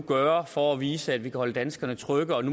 gøre for at vise at vi kan holde danskerne trygge